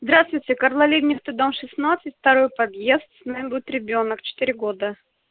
здравствуйте карла либкнехта дом шестнадцать второй подъезд с нами будет ребёнок четыре года